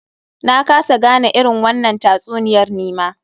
Na kasa gane irin wannan tatsuniyar nima.